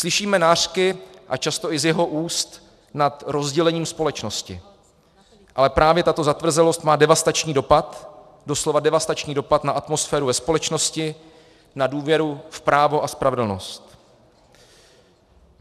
Slyšíme nářky, a často i z jeho úst, nad rozdělením společnosti, ale právě tato zatvrzelost má devastační dopad, doslova devastační dopad, na atmosféru ve společnosti, na důvěru v právo a spravedlnost.